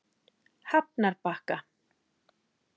Hafnarbakka